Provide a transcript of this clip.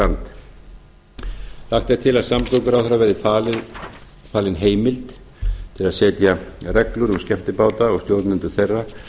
land lagt er til að samgönguráðherra verði falin heimild til að setja reglur um skemmtibáta og stjórnendur þeirra